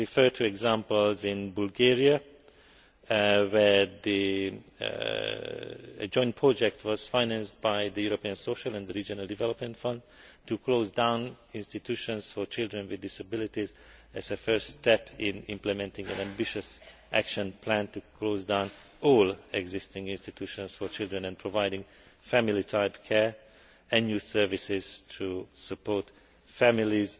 For example, in Bulgaria, a joint project was financed by the European Social and Regional Development Fund to close down institutions for children with disabilities, as a first step in implementing an ambitious action plan to close down all existing institutions for children and providing family type care and new services to support families.